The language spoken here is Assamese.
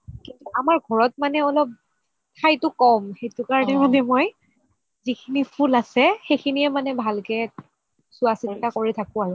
আমাৰ ঘৰত মানে অলপ ঠাইটো ক'ম সেইটো কাৰণে মই যিখিনি ফুল আছে সেইখিনিয়ে মানে ভালকে চুৱা চিতা কৰি থাকো আৰু